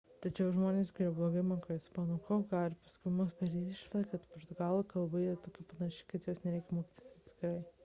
tačiau žmonės kurie blogai moka ispanų kalbą gali paskubomis padaryti išvadą kad portugalų kalba yra tokia panaši kad jos nereikia mokytis atskirai